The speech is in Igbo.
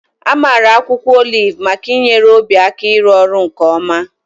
Amara akwụkwọ oliv maka inyere obi aka ịrụ ọrụ nke ọma.